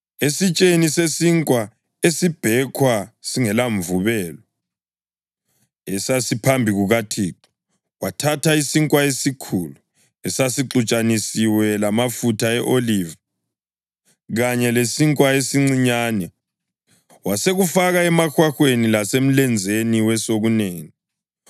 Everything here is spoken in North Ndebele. Esitsheni sesinkwa esibhekhwa singelamvubelo, esasiphambi kukaThixo, wathatha isinkwa esikhulu, esasixutshaniswe lamafutha e-oliva kanye lesinkwa esincinyane, wasekufaka emahwahweni lasemlenzeni wesokunene.